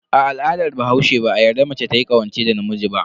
A al'adar bahaushe, ba a yarda mace tayi ƙawance da namiji ba.